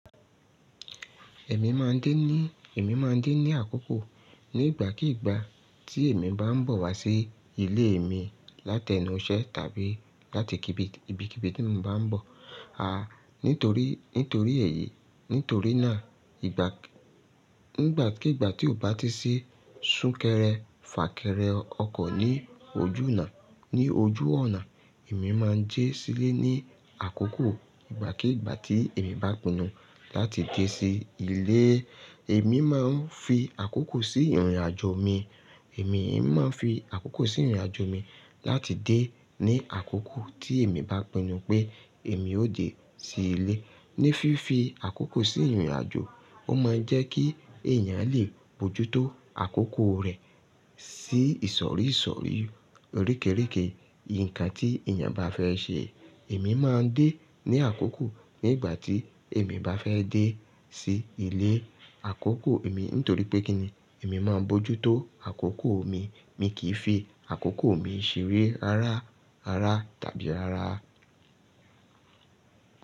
Èmi máa ń dé ní, èmi máa ń dé ní àkókò ní ìgbàkígbà tí èmi bá ń bọ̀ wá sí ilé mi látẹ inú iṣẹ́ tàbí láti ibi, ibi kí ibi tí mo bá ń bọ̀. À, nítorí, nítorí èyí, nítorí náà ìgbà, nígbàkígbà tí ó bá ti sí súnkẹrẹ fàkẹrẹ ọkọ̀ ní ojú ọ̀nà, ní ojú ọ̀nà, èmi máa ń jẹ́ sílẹ̀ ní àkókò ìgbàkígbà tí èmi bá pinnu láti dé sí ilé. Èmi máa ń fi àkókò sí ìrìnàjò mi. Èmi, èmi máa ń fi àkókò sí ìrìnàjò mi láti dé ní àkókò tí èmi bá pinnu pé èmi ó dé sí ilé. Ní fífi àkókò sí ìrìnàjò, ó máa ń jẹ́ kí èèyàn lè bójú tó àkókò rẹ̀ sí ìsọ̀rí ìsọ̀rí oríke oríke nǹkan tí èèyàn bá fẹ́ ṣe. Èmi máa ń dé ní àkókò ní ìgbà tí èmi bá fẹ́ dé sí ilé. Àkókò èmi nítorí pé kí ni èmi máa ń bójú tó àkókò mi. Mi kì í fi àkókò mi ṣeré rárá, rárá tàbí rárá.